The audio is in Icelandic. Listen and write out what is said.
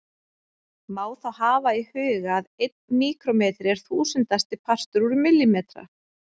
Má þá hafa í huga að einn míkrómetri er þúsundasti partur úr millimetra.